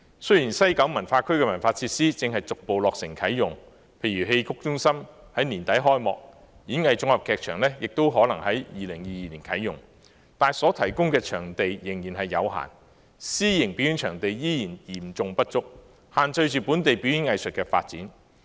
雖然西九文化區的文化設施正逐步落成啟用，例如戲曲中心在年底開幕，演藝綜合劇場亦可能在2022年啟用，但所提供的場地仍然有限，私營表演場地仍然嚴重不足，限制着本地表演藝術的發展。